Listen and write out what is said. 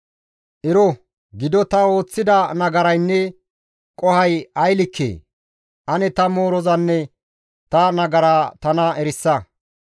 Ero gido ta ooththida nagaraynne qohoy ay likkee? Ane ta moorozanne ta nagara tana erisa.